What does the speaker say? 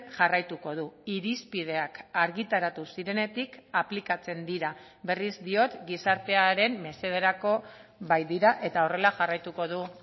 jarraituko du irizpideak argitaratu zirenetik aplikatzen dira berriz diot gizartearen mesederako baitira eta horrela jarraituko du